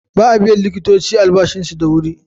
Ba a biyan likitoci albashinsu da wuri.